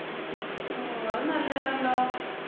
ഓഹ് അത് നല്ലയാണല്ലൊ